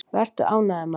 Vertu ánægður, maður!